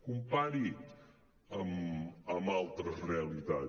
compari ho amb altres realitat